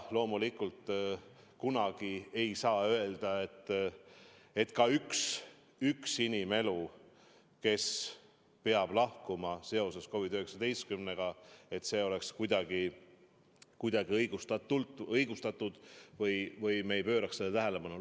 Loomulikult kunagi ei saa öelda, et üksainuski inimene, kes peab lahkuma COVID-19 tõttu, oleks kuidagi õigustatud või me ei peaks sellele tähelepanu pöörama.